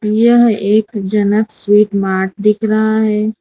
यह एक Janak sweet mart दिख रहा है।